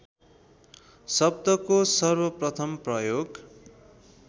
शब्दको सर्वप्रथम प्रयोग